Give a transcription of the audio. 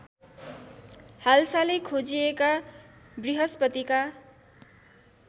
हालसालै खोजिएका बृहस्पतिका